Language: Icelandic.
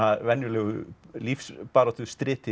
venjulegu